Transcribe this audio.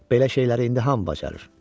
Belə şeyləri indi hamı bacarır.